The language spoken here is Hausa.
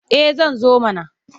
Eh zan zo mana.